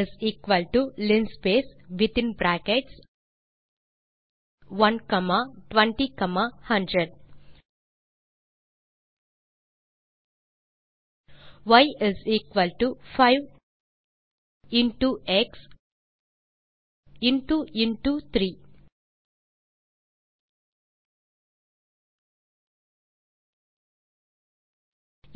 X linspace within brackets 1 comma 20 comma 100 ய் 5 into x into into 3